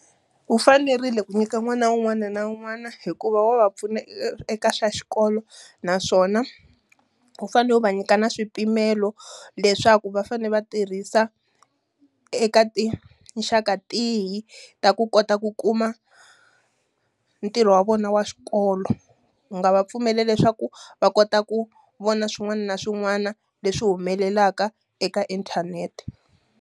Wu fanerile ku nyika n'wana un'wana na un'wana hikuva wa va pfuna eka swa xikolo, naswona wu fanele u va nyika na swipimelo leswaku va fanele va tirhisa eka tinxaka tihi ta ku kota ku kuma ntirho wa vona wa xikolo. Wu nga va pfumela leswaku va kota ku vona swin'wana na swin'wana leswi humelelaka eka inthanete.